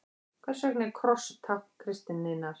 Hvers vegna er kross tákn kristninnar?